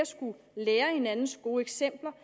lære af hinandens gode eksempler